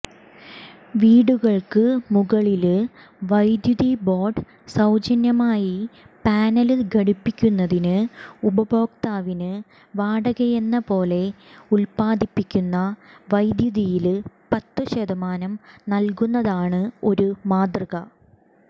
വീടുകള്ക്കു മുകളില് വൈദ്യുതിബോര്ഡ് സൌജന്യമായി പാനല് ഘടിപ്പിക്കുന്നതിന് ഉപഭോക്താവിന് വാടകയെന്നപോലെ ഉല്പ്പാദിപ്പിക്കുന്ന വൈദ്യുതിയില് പത്തുശതമാനം നല്കുന്നതാണ് ഒരു മാതൃക